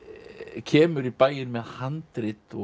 kemur í bæinn með handrit